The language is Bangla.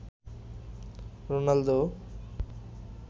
রোনালদো